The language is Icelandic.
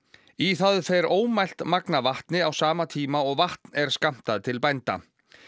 í það fer ómælt magn af vatni á sama tíma og vatn er skammtað til bænda